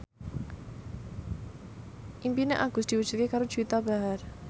impine Agus diwujudke karo Juwita Bahar